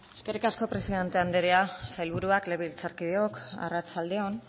eskerrik asko presidente andrea sailburuak legebiltzarkideok arratsalde on